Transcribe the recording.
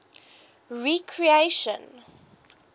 recreation